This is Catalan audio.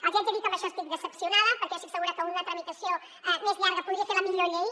els haig de dir que en això estic decebuda perquè jo estic segura que una tramitació més llarga podria fer la millor llei